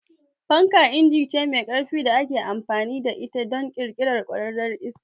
Fanka inji ce mai ƙarfi da ake amfani da ita don ƙirƙirar kwararar iska.